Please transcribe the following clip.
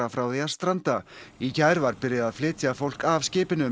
frá því að stranda í gær var byrjað að flytja fólk af skipinu